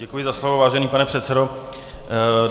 Děkuji za slovo, vážený pane předsedo.